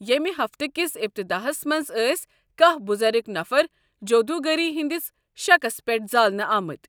ییٚمہِ ہفتہٕ کِس اِبتِداہس منٛز ٲسۍ کہہ بُزرگ نَفر جودوُگری ہٕنٛدِس شَکس پیٚٹھ زالنہٕ آمٕتۍ۔